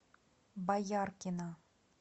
бояркина